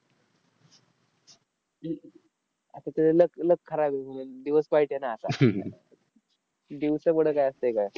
आता ते luck luck खराब आहे. दिवस वाईट आहे ना आता. दिवसापुढं काय असतंय काय.